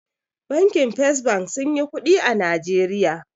Bankin fes bank sunyi kuɗi a najeriya